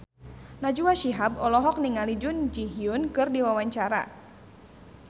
Najwa Shihab olohok ningali Jun Ji Hyun keur diwawancara